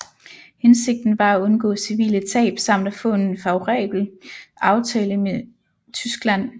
Hensigten var at undgå civile tab samt at få en favorabel aftale med Tyskland